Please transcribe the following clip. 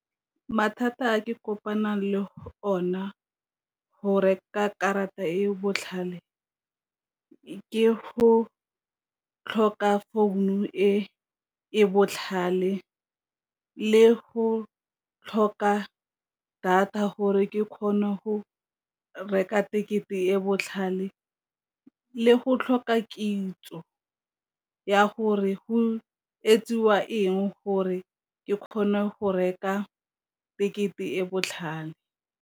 Mathata a ke kopanang le go ona go reka karata e botlhale ke go tlhoka founu e e botlhale, le go tlhoka data gore ke kgone go reka tekete e botlhale, le go tlhoka kitso ya gore go etsiwa eng gore ke kgone go reka tekete e e botlhale.